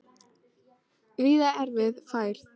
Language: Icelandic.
Víða erfið færð